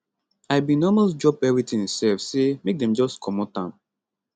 i bin almost drop everything sef say make dem just comot am